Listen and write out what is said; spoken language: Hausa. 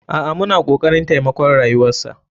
A'a muna kokarin taimakon rayuwarsa.